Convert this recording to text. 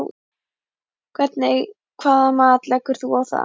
Hvernig hvaða mat leggur þú á það?